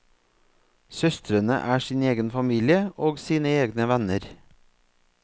Søstrene er sin egen familie og sine egne venner.